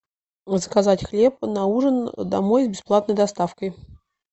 заказать хлеб на ужин домой с бесплатной доставкой